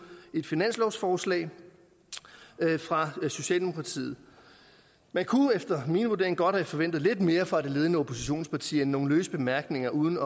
et finanslovsforslag fra socialdemokratiet man kunne efter min vurdering godt have forventet lidt mere fra det ledende oppositionsparti end nogle løse bemærkninger uden